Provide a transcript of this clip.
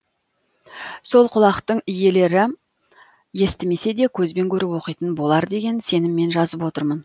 сол құлақтың иелері естімесе де көзбен көріп оқитын болар деген сеніммен жазып отырмын